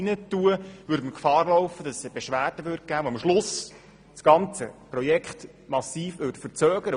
Man würde Gefahr laufen, dass es eine Beschwerde gäbe, die am Schluss das ganze Projekt massiv verzögert.